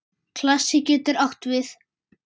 Klasi getur átt við